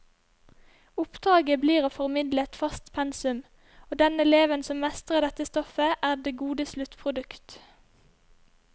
Oppdraget blir å formidle et fast pensum, og den eleven som mestrer dette stoffet, er det gode sluttprodukt.